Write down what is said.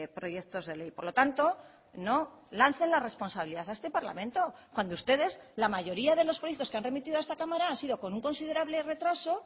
proyectos de ley por lo tanto no lancen la responsabilidad a este parlamento cuando ustedes la mayoría de los proyectos que han remitido a esta cámara han sido con un considerable retraso